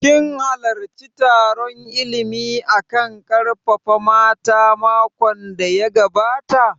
Kin halarci taron illimi a kan ƙarfafa mata makon da ya gabata?